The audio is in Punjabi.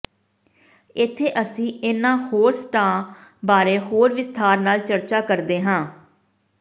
ਇੱਥੇ ਅਸੀਂ ਇਨ੍ਹਾਂ ਹੋਰ ਸੱਟਾਂ ਬਾਰੇ ਹੋਰ ਵਿਸਥਾਰ ਨਾਲ ਚਰਚਾ ਕਰਦੇ ਹਾਂ